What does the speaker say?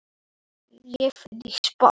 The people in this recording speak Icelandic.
Já svarar hann.